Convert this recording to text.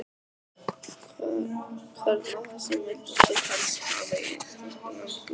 Hvern af þessum vildir þú helst hafa í íslenska landsliðinu?